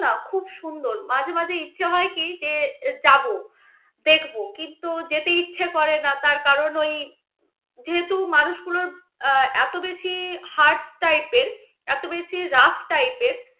খুব সুন্দর মাঝে মাঝে ইচ্ছে হয় কি যে যাব, দেখব. কিন্তু যেতে ইচ্ছে করে না. তার কারণ ওই যেহেতু মানুষগুলো এত বেশি hard type এর, এত বেশি rugh type এর